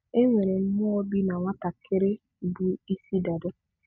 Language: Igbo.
E nwere mmụọ bị na nwatakịrị bụ ịsị dada.